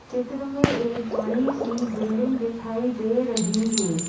चित्र में एक बड़ी सी बिल्डिंग दिखाई दे रही है।